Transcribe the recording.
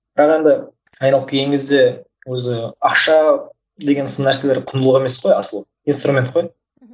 бірақ енді айналып келген кезде өзі ақша деген сын нәрселер құндылық емес қой асылы инструмент қой